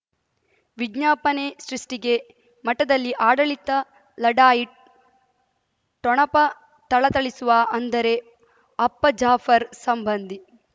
ವಿಜ್ಞಾಪನೆ ಸೃಷ್ಟಿಗೆ ಮಠದಲ್ಲಿ ಆಡಳಿತ ಲಢಾಯಿ ಠೊಣಪ ಥಳಥಳಿಸುವ ಅಂದರೆ ಅಪ್ಪ ಜಾಫರ್ ಸಂಬಂಧಿ